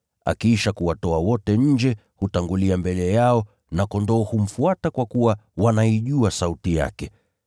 Akiisha kuwatoa wote nje, hutangulia mbele yao na kondoo humfuata kwa kuwa wanaijua sauti yake.